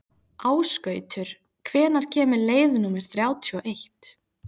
Ásgautur, hvenær kemur leið númer þrjátíu og eitt?